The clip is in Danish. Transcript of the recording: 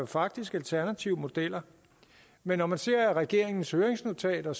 faktisk alternative modeller men når man ser regeringens høringsnotater